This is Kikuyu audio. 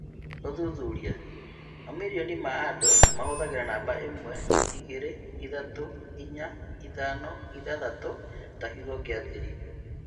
Ũthuthuria: mamilioni ma andũ mahũthagĩra namba imwe, igĩrĩ, ithatũ, inya, ithano, ithathatũ ta kiugo gĩa thiri